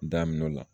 Daminɛ o la